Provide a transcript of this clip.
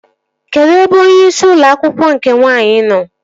Kedụ ebe onyeisi ụlọ akwụkwọ nke nwaanyị nọ?